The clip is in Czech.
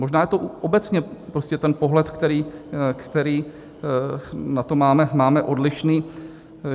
Možná je to obecně prostě ten pohled, který na to máme odlišný.